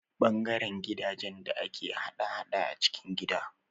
Ɓangaren jiragen da ke hada-hada a cikin gida